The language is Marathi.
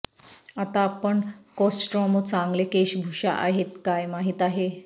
आता आपण कोस्ट्रोमा चांगले केशभूषा आहेत काय माहित आहे